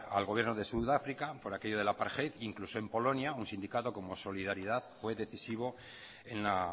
al gobierno de sudáfrica por aquello del apartheid e incluso en polonia un sindicato como solidaridad fue decisivo en la